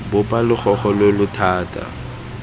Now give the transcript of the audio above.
bopa logogo lo lo thata